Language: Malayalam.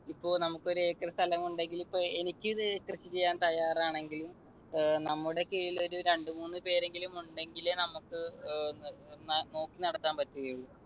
ഇപ്പൊ നമുക്ക് ഒരു acre സ്ഥലമുണ്ടെങ്കിൽ ഇപ്പൊ എനിക്ക് ഇത് കൃഷി ചെയ്യാൻ തയ്യാറാണെങ്കിലും നമ്മുടെ കീഴിൽ ഒരു രണ്ട് മൂന്ന് പേരെങ്കിലും ഉണ്ടെങ്കിലെ നമുക്ക് ഏർ നോക്കി നടത്താൻ പറ്റുകയുള്ളു.